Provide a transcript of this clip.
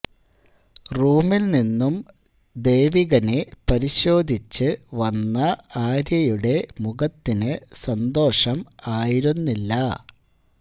റൂമിൽ നിന്നും ദേവികനെ പരിശോധിച്ച് വന്ന ആര്യയുടെ മുഖത്തിനു സന്തോഷം ആയിരുന്നില്ല